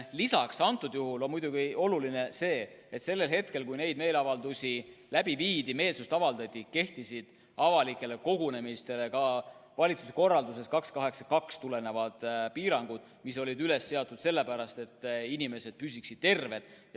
Lisaks on muidugi oluline see, et sellel hetkel, kui neid meeleavaldusi läbi viidi, meelsust avaldati, kehtisid avalikele kogunemistele ka valitsuse korraldusest nr 282 tulenevad piirangud, mis olid seatud sellepärast, et inimesed püsiksid terved.